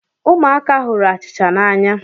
Ụmụaka hụrụ achịcha n’anya